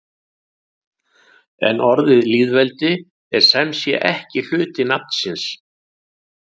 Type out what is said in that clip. En orðið lýðveldi er sem sé ekki hluti nafnsins.